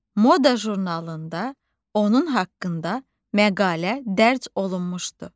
Moda jurnalında onun haqqında məqalə dərc olunmuşdu.